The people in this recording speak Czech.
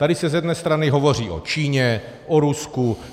Tady se z jedné strany hovoří o Číně, o Rusku.